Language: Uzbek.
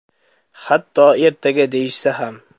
Hatto ertaga deyishsa ham.